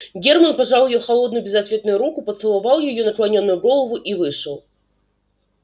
герман пожал её холодную безответную руку поцеловал её наклонённую голову и вышел